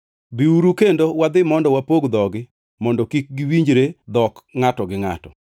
Biuru, kendo wadhi mondo wapog dhogi mondo kik giwinjre dhok ngʼato gi ngʼato.”